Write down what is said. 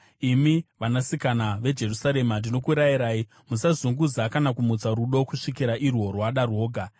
Imi vanasikana veJerusarema ndinokurayirai: Musazunguza kana kumutsa rudo kusvikira irwo rwada rwoga.